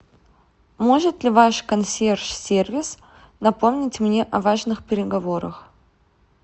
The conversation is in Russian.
может ли ваш консьерж сервис напомнить мне о важных переговорах